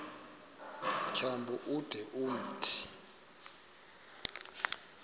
tyambo ude umthi